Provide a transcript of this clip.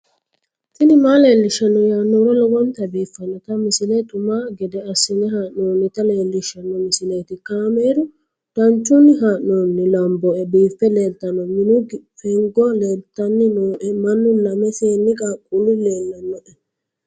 tini maa leelishshanno yaannohura lowonta biiffanota misile xuma gede assine haa'noonnita leellishshanno misileeti kaameru danchunni haa'noonni lamboe biiffe leeeltanno minu fengo leeltanni nooe mannu lame seenni qaaqullu leellannoe